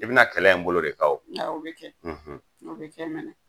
I bɛna kɛlɛ in bolo de kan, awɔ o bɛ kɛ, o bɛ kɛ mɛnɛ!